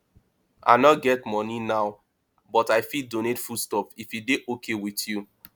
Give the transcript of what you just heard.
i no get money now but i fit donate food stuff if e dey okay with you